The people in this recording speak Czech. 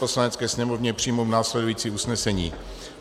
Poslanecké sněmovně přijmout následující usnesení: